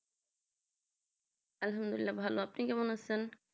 আলহামদুলিল্লাহ ভালো আপনি কেমন আছেন